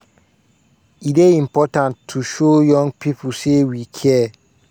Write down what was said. "e dey important to show young pipo say we care.